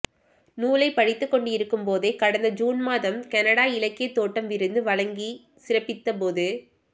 நூலைப் படித்துக் கொண்டிருக்கும் போதே கடந்த ஜூன் மாதம் கனடா இலக்கியத் தோட்டம் விருது வழங்கிச் சிறப்பித்தபோது